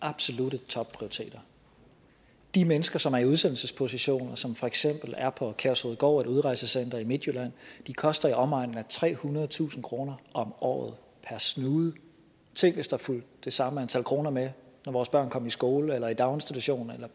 absolutte topprioriteter de mennesker som er i udsendelsesposition og som for eksempel er på kærshovedgård et udrejsecenter i midtjylland koster i omegnen af trehundredetusind kroner om året per snude tænk hvis der fulgte det samme antal kroner med når vores børn kom i skole eller i daginstitution eller